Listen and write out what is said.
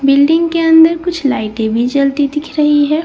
building के अंदर कुछ लाइटें भी जलती दिख रही हैं यहाँ कुछ --